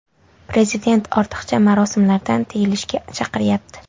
Prezident ortiqcha marosimlardan tiyilishga chaqiryapti.